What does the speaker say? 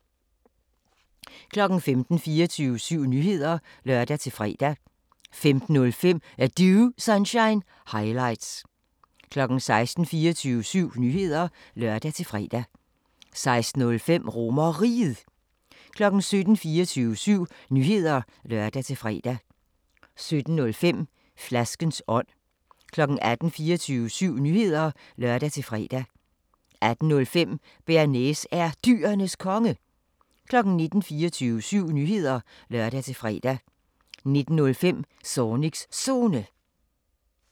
15:00: 24syv Nyheder (lør-fre) 15:05: Er Du Sunshine – highlights 16:00: 24syv Nyheder (lør-fre) 16:05: RomerRiget 17:00: 24syv Nyheder (lør-fre) 17:05: Flaskens ånd 18:00: 24syv Nyheder (lør-fre) 18:05: Bearnaise er Dyrenes Konge 19:00: 24syv Nyheder (lør-fre) 19:05: Zornigs Zone